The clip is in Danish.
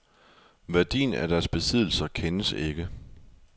Værdien af deres besiddelser kendes ikke.